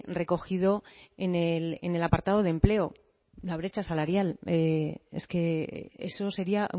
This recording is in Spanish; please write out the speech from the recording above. recogido en el apartado de empleo la brecha salarial es que eso sería